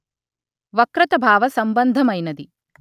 వక్రత భావ సంభంధమైనది